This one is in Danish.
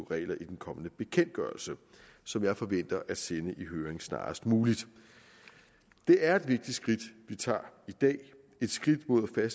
regler i den kommende bekendtgørelse som jeg forventer at sende i høring snarest muligt det er et vigtigt skridt vi tager i dag et skridt mod at